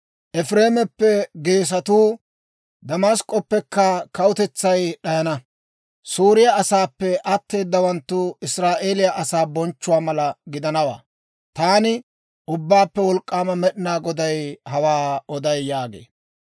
Efireemeppe geesatuu, Damask'k'oppekka kawutetsay d'ayana; Sooriyaa asaappe atteeddawanttu Israa'eeliyaa asaa bonchchuwaa mallaa gidanawantta. Taani, Ubbaappe Wolk'k'aama Med'inaa Goday hawaa oday» yaagee.